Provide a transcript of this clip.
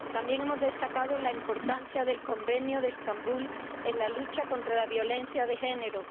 También hemos destacado la importancia del Convenio de Estambul en la lucha contra la violencia de género.